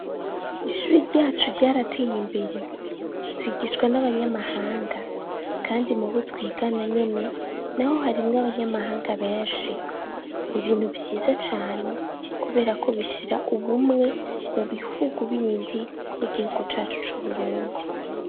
Ishuri ryacu ryarateye imbere twigishwa n'abanyamahanga kandi mu bo twigana nyene naho harimwo abanyamahanga benshi, ni ibintu vbyiza cane kubera ko bishira ubumwe mu bihugu bindi n'igihugu cacu c'Uburundi.